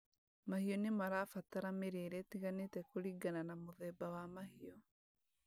Mahiũ nĩmarabatara mĩrĩre ĩtiganĩte kũringana na mũthemba wa mahiũ